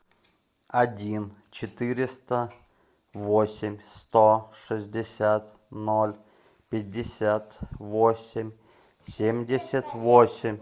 один четыреста восемь сто шестьдесят ноль пятьдесят восемь семьдесят восемь